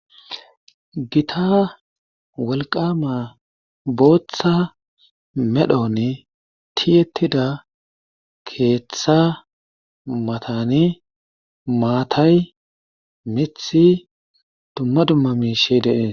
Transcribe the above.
Gita wolqama booththa medhonne tiyettida keeththa matani maatay mithi dumma dumma mi shi deee